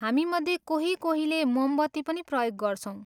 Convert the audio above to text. हामीमध्ये कोही कोहीले मोमबत्ती पनि प्रयोग गर्छौँ।